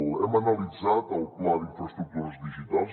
hem analitzat el pla d’infraestructures digitals